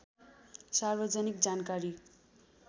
सार्वजनिक जानकारी